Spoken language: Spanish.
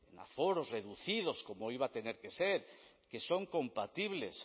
aforos reducidos como iba a tener que ser que son compatibles